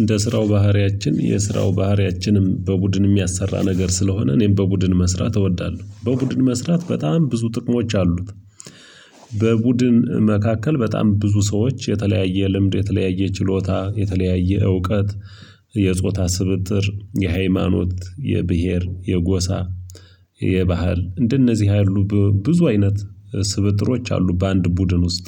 እንደ ስራው ባህሪያችን የስራው ባህሪያችንም በቡድን የሚያሰራ ነገር ስለሆነ እኔም በቡድን መስራት እወዳለሁ በቡድን መስራት በጣም ብዙ ጥቅሞች አሉት። በቡድን መካከል በጣም ብዙ ሰዎች የተለያየ ልምድ የተለያየ ችሎታ የተለያየ እውቀት የጾታ ስብጥር የሃይማኖት የብሄር የጎሳ የባህል እንደነዚህ ያሉ ብዙ አይነት ስብጥሮች አሉ በአንድ ቡድን ውስጥ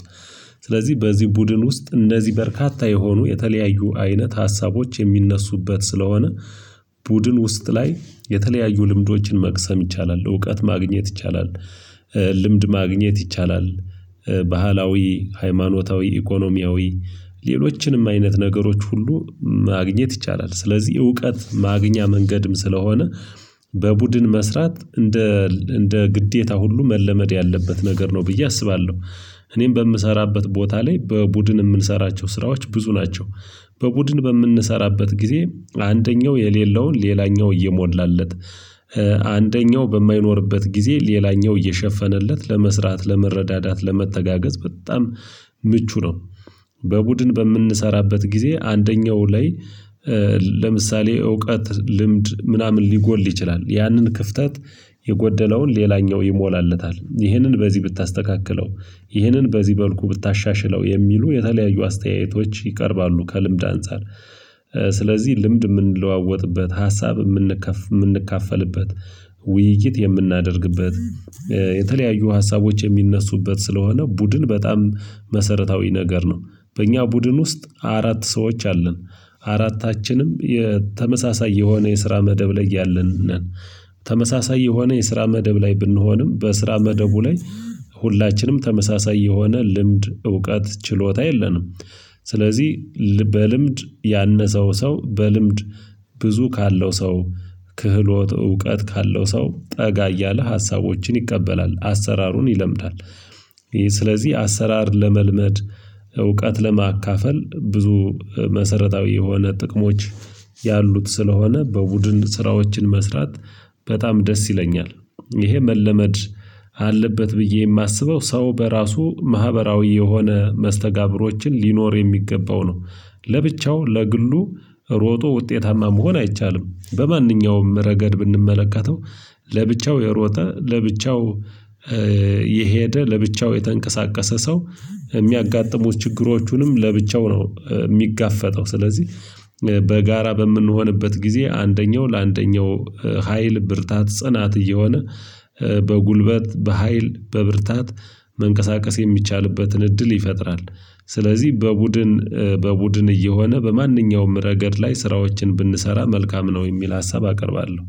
ስለዚህ በዚህ ቡድን ውስጥ እነዚህ በርካታ የሆኑ የተለያዩ አይነት ሀሳቦች የሚነሱበት ስለሆነ። ቡድን ውስጥ ላይ የተለያዩ ልምዶችን መቅሰም ይቻላል እውቀት ማግኘት ይቻላል። ልምድ ማግኘት ይቻላል ባህላዊ ሃይማኖታዊ ኢኮኖሚያዊ ሌሎችንም አይነት ነገሮች ሁሉ ማግኘት ይቻላል። ስለዚህ እውቀት ማግኛ መንገድም ስለሆነ በቡድን መስራት እንደ እንደ ግዴታ ሁሉ መለመድ ያለበት ነገር ነው ብዬ አስባለሁ። እኔም በምሰራበት ቦታ ላይ በቡድን የምንሰራቸው ስራዎች ብዙ ናቸው። በቡድን በምንሰራበት ጊዜ አንደኛው የሌለውን ሌላኛው እየሞላለት አንደኛው በማይኖርበት ጊዜ ሌላኛው እየሸፈነለት ለመስራት ለመረዳዳት ለመተጋገዝ በጣም ምቹ ነው። በቡድን በምንሰራበት ጊዜ አንደኛው ላይ ለምሳሌ እውቀት ልምድ ምናምን ሊጎል ይችላል ያንን ክፍተት የጎደለውን ሌላኛው ይሞላለታል ይህንን በዚህ ብታስተካክለው ይህንን በዚህ መልኩ ብታሻሽለው የሚሉ የተለያዩ አስተያየቶች ይቀርባሉ። ከልምድ አንፃር ልምድ የምንለዋወጥበት ሀሳብ የምንካፈልበት ውይይት የምናደርግበት የተለያዩ ሀሳቦች የሚነሱበት ስለሆነ ቡድን በጣም መሰረታዊ ነገር ነው። በእኛ ቡድን ውስጥ አራት ሰዎች አለን አራታችንም የተመሳሳይ የሆነ የስራ መደብ ላይ ያለን ነን። ተመሳሳይ የሆነ የስራ መደብ ላይ ብንሆንም በስራ መደቡ ላይ ሁላችንም ተመሳሳይ የሆነ ልምድ እውቀት ችሎታ የለንም። ስለዚህ በልምድ ያነሰው ሰው በልምድ ብዙ ካለው ሰው ክህሎት እውቀት ካለው ሰው ጠጋ እያለ ሀሳቦችን ይቀበላል አሰራሩን ይለምዳል። ስለዚህ አሰራር ለመልመድ እውቀት ለማካፈል ብዙ መሰረታዊ የሆነ ጥቅሞች ያሉት ስለሆነ በቡድን ስራዎችን መስራት። በጣም ደስ ይለኛል። ይሄ መለመድ አለበት ብዬ የማስበው ሰው በራሱ ማህበራዊ የሆነ መስተጋብሮችን ሊኖር የሚገባው ነው። ለብቻው ለግሉ ሮጦ ውጤታማ መሆን አይቻልም። በማንኛውም ረገድ ብንመለከተው ለብቻው የሮጠ ለብቻው የሄደ ለብቻው የተንቀሳቀሰ ሰው የሚያጋጥሙት ችግሮቹንም ለብቻው ነው የሚጋፈጠው ስለዚህ። በጋራ በምንሆንበት ጊዜ አንደኛው ለአንደኛው ሀይል ብርታት ጽናት እየሆነ በጉልበት በሃይል በብርታት መንቀሳቀስ የሚቻልበትን እድል ይፈጥራል። ስለዚህ በቡድን በቡድን እየሆነ በማንኛውም ረገድ ላይ ስራዎችን ብንሰራ መልካም ነው የሚል ሀሳብ አቀርባለሁ።